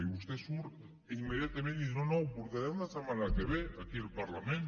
i vostè surt immediatament i diu no no ho portarem la setmana que ve aquí al parlament